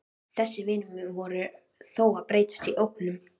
Þessir vinir mínir voru þó að breytast í ógnun.